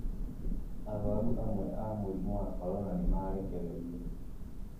arũaru amwe aa murimu wa korona nĩ marekererĩo.